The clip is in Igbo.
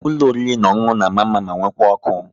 Ụlọ oriri na ọṅụṅụ na mma mma ma nwekwa ọkụ